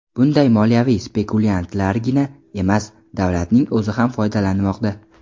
Bundan moliyaviy spekulyantlargina emas, davlatning o‘zi ham foydalanmoqda.